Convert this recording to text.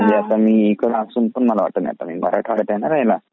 म्हणजे मी आता इकडे असून पण नाही आहे थंडी म्हणजे मी इकडे आहे ना मराठवाड्यात आहे ना राहायला.